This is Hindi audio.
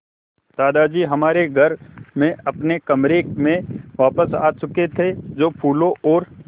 दादाजी हमारे घर में अपने कमरे में वापस आ चुके थे जो फूलों और